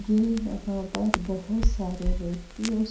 ये यहां पर बहोत सारे व्यक्ति और --